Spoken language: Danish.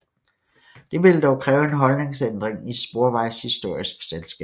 Det ville dog kræve en holdningsændring i Sporvejshistorisk Selskab